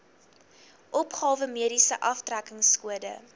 opgawe mediese aftrekkingskode